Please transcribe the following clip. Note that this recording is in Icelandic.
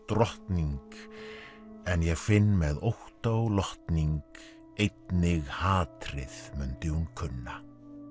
drottning en ég finn með ótta og lotning einnig hatrið mundi hún kunna